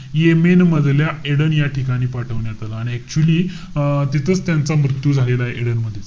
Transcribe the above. Yemen मधल्या Aden या ठिकाणी पाठवण्यात आलं. आणि actually अं तिथंच त्यांचा मृत्यू झालेला आहे एडन मध्ये.